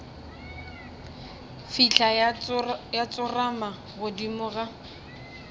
fihla ya tsorama godimo ga